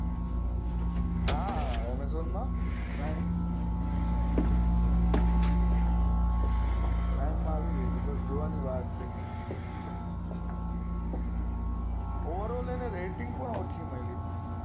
હા amazon prime માં આવી ગઈ છે બસ હવે જોવાની વાર છે overall rating પણ ઓછી છે